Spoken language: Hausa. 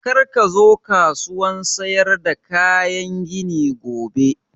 Kar ka zo kasuwan sayar da kayan gini gobe!